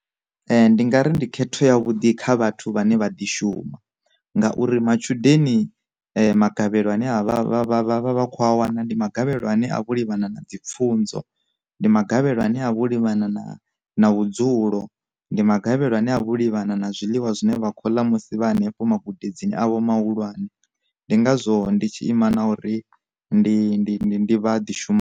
Ndi nga ri ndi khetho ya vhuḓi kha vhathu vhane vha ḓi shuma, ngauri matshudeni magavhelo ane a vha vha vha vha vha vha khou a wana ndi magavhelo ane a vho livhana na dzi pfhunzo, ndi magavhelo ane a vha o livhana na na vhudzulo, ndi magavhelo ane a vha o livhana na zwiḽiwa zwine vha khou ḽa musi vha henefho magudedzini avho mahulwane, ndi ngazwo ndi tshi ima na uri ndi vha ḓi shuma.